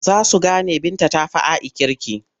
Za su gane Binta ta fi A'i kirki.